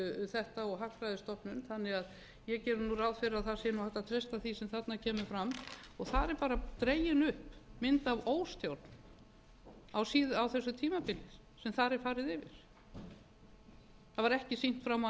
þetta og hagfræðistofnun þannig að ég geri ráð fyrir að hægt sé að treysta því sem þarna kemur fram og þar er dregin upp mynd af óstjórn á þessu tímabili sem þar er farið yfir það var ekki sýnt fram á